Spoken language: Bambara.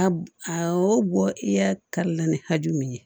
A b a awɔ bɔ i y'a kari la ni hakɛ min ye